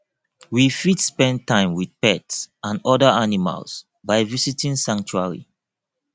we fit spend time with pets and oda animals by visiting sanctuary